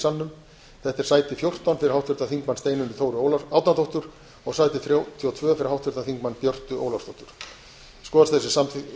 salnum þetta er sæti fjórtán fyrir háttvirtan þingmann steinunni þóru árnadóttur og sæti þrjátíu og tvö fyrir háttvirtan þingmann björt ólafsdóttur skoðast